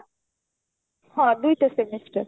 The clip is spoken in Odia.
ହଁ ଦୁଇଟା semester